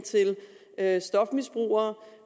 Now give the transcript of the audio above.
af stofmisbrugere